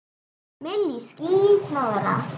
Milli ský- hnoðra.